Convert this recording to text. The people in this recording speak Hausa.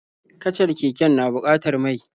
Kacar keken na bukatar mai.